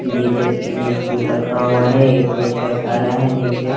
नीचे तीन स्टूल रखा हुआ है एक बच्चा खड़ा है नीचे--